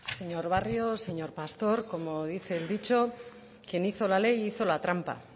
señor barrio señor pastor como dice el dicho quien hizo la ley hizo la trampa